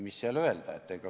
Mis seal öelda?